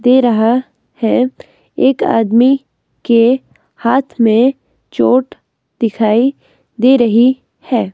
दे रहा है एक आदमी के हाथ में चोट दिखाई दे रही है.